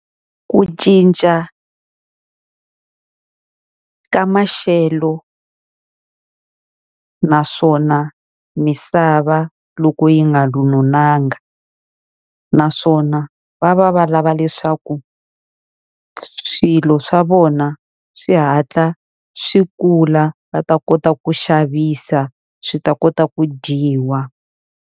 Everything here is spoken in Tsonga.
Ku cinca ka maxelo naswona misava loko yi nga . Naswona va va va lava leswaku swilo swa vona swi hatla swi kula va ta kota ku xavisa swi ta kota ku dyiwa.